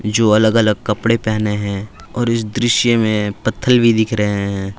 जो अलग अलग कपड़े पहने हैं और इस दृश्य में पत्थर भी दिख रहे हैं।